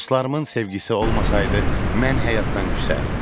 Dostlarımın sevgisi olmasaydı, mən həyatdan küsərdim.